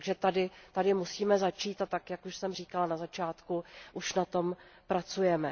Takže tady musíme začít, a tak jak už jsem říkala na začátku, už na tom pracujeme.